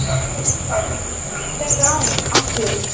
Karl: Hver er aflinn?